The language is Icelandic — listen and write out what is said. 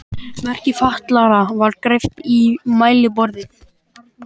Merki fatlaðra var greypt í mælaborðið.